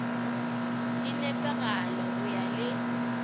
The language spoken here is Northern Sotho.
di nepagale go ya le